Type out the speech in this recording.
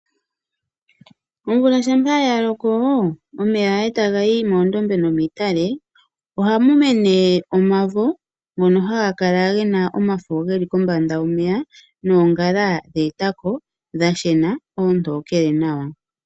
Omvula shampa ya loko omeya etaga yi moondobe nomiitale ohamu mene omavo ngono haga kala gena omafo geli kombanda yomeya noongala dhe etako dha shena oontokele nawa.